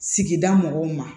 Sigida mɔgɔw ma